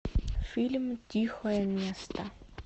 фильм тихое место